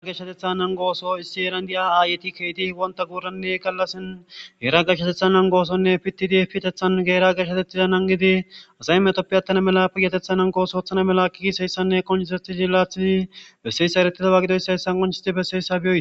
Geshateththa nanigo issi heerani deiya oso wonita guranne galasani yetinn yelagati geeshshateththa nanigo piteththsni Heera geeshshateththa nanigodi asayi metoppe tana mala payateththa oththo oththana mala gizayisanne qonicisidi ereetida gidoyisasi qoncosidi besesi